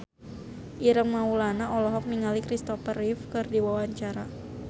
Ireng Maulana olohok ningali Kristopher Reeve keur diwawancara